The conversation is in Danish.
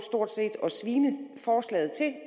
og svine forslaget til